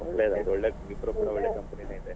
ಹೌದೌದು ಒಳ್ಳೆದಾಯ್ತು ಒಳ್ಳೆ Wipro ಕೂಡ ಒಳ್ಳೆ company ನೆೇ ಇದೆ.